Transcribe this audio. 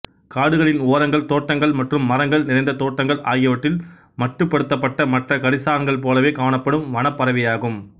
காடுகளின் ஓரங்கள் தோட்டங்கள் மற்றும் மரங்கள் நிறைந்த தோட்டங்கள் ஆகியவற்றில் மட்டுப்படுத்தப்பட்ட மற்ற கரிச்சான்கள் போலவே காணப்படும் வனப் பறவையாகும்